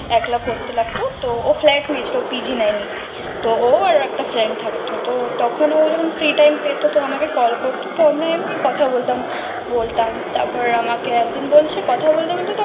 একলা করতে লাগতো তো ও flat নিয়ে ছিল পিজি নাম এ তো ও আর একটা friend থাকতো তো তখন ও যখন free time পেতো তো আমাকে call করতো তো এমনি কথা বলতাম বলতাম তারপর আমাকে একদিন বলছে কথা বলতে বলতে